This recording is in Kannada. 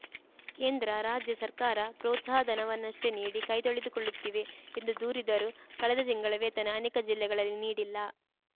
ಕೇಂದ್ರ ರಾಜ್ಯ ಸರ್ಕಾರ ಪ್ರೋತ್ಸಾಹಧನವನ್ನಷ್ಟೇ ನೀಡಿ ಕೈತೊಳೆದುಕೊಳ್ಳುತ್ತಿವೆ ಎಂದು ದೂರಿದರು ಕಳೆದ ತಿಂಗಳ ವೇತನ ಅನೇಕ ಜಿಲ್ಲೆಗಳಲ್ಲಿ ನೀಡಿಲ್ಲ